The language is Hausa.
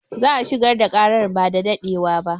Za a shigar da ƙaran ba da daɗewa ba